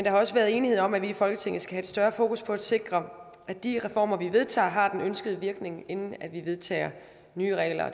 har også været enighed om at vi i folketinget skal have større fokus på at sikre at de reformer vi vedtager har den ønskede virkning inden vi vedtager nye regler og